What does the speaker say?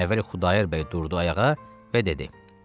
Əvvəl Xudayar bəy durdu ayağa və dedi: